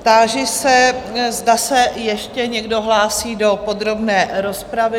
Táži se, zda se ještě někdo hlásí do podrobné rozpravy?